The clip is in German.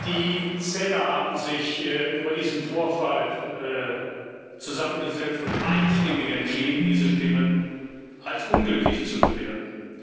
Die Zähler haben sich über diesen Vorfall zusammengesetzt und einstimmig entschieden, diese Stimme als ungültig zu bewerten.